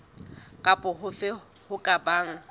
kapa hofe ho ka bang